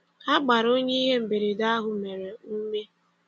Ha gbara onye ihe mberede ahụ mere, ume.